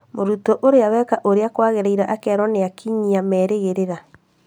Mũrutwo ũrĩa weka ũrĩa kwagĩrĩire akerwo nĩ akinyia merĩgĩrĩra